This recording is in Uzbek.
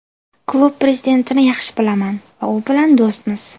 Klub prezidentini yaxshi bilaman va u bilan do‘stmiz.